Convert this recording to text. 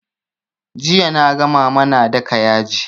Jiya naga mama na daka yaji